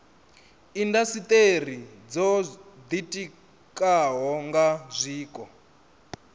indasiteri dzo ditikaho nga zwiko